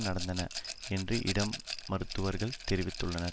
நடந்தன என்று இடம் மருத்துவர்கள் தெரிவித்துள்ளனர்